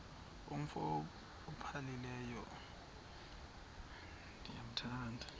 umf ophaphileyo ndithanda